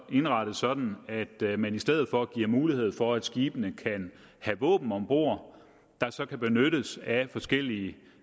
indrettet sådan at man i stedet for giver mulighed for at skibene kan have våben om bord der så kan benyttes af forskellige